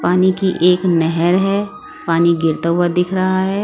पानी की एक नहर है पानी गिरता हुआ दिख रहा है।